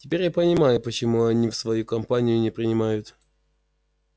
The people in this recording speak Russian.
теперь я понимаю почему они его в свою компанию не принимают